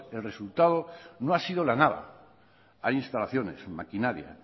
el resultado no ha sido la nada hay instalaciones maquinaria